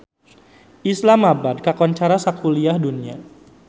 Islamabad kakoncara sakuliah dunya